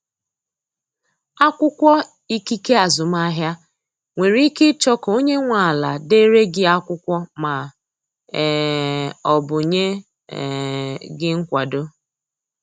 Akwụkwọ ikike azụmahịa, nwere ike ịchọ ka onye nwe ala dere gị akwụkwọ ma um ọ bụ nye um gị nkwado.